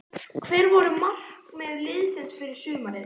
Hver voru markmið liðsins fyrir sumarið?